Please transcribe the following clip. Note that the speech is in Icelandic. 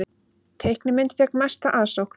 Teiknimynd fékk mesta aðsókn